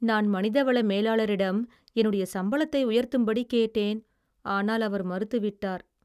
நான் மனிதவள மேலாளரிடம் என்னுடைய சம்பளத்தை உயர்த்தும்படி கேட்டேன் ஆனால் அவர் மறுத்துவிட்டார்.